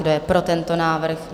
Kdo je pro tento návrh?